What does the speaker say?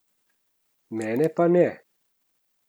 Mene pa ne.